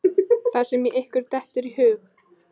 Það sem ykkur dettur í hug!